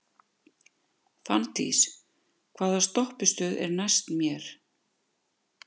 Fanndís, hvaða stoppistöð er næst mér?